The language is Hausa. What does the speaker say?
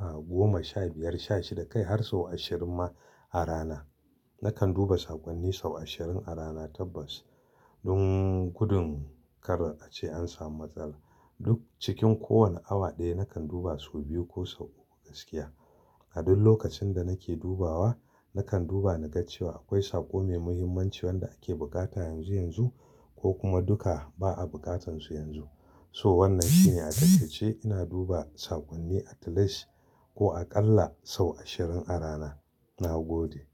ah, goma, sha biyar, sha shida kai har sau ashirin ma a rana. Nakan duba sakonni sau ashirin a rana tabbas. Don gudun kar a ce an samu matsala. Duk cikin kowane awa ɗaya nakan duba sau biyu ko sau uku gaskiya. A duk lokacin da nake dubawa, nakan duba na ga cewa akwai sako mai muhimmanci wanda ake bukata yanzu yanzu ko kuma duka ba a bukatansu yanzu. To wannan shine a cikace ina duba sakonni a talash ko a ƙalla sau ashirin a rana. Na gode.